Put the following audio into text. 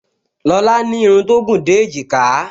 Lọlá ní irun tó gùn dé èjìká